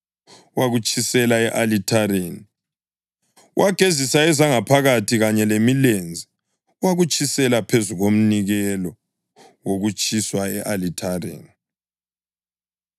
Wagezisa ezangaphakathi kanye lemilenze wakutshisela phezu komnikelo wokutshiswa e-alithareni.